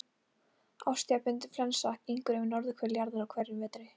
Árstíðabundin flensa gengur yfir norðurhvel jarðar á hverjum vetri.